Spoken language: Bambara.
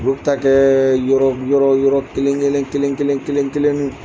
Olu bɛ ta kɛ yɔrɔ yɔrɔ yɔrɔ kelen kelen kelen kelen kelen kelen kelenniw.